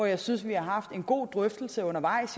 jeg synes vi har haft en god drøftelse undervejs